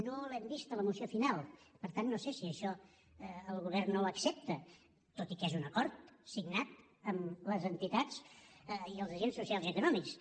no l’hem vist a la moció final per tant no sé si això el govern no ho accepta tot i que és un acord signat amb les entitats i els agents socials i econòmics